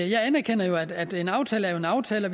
jeg anerkender jo at en aftale er en aftale og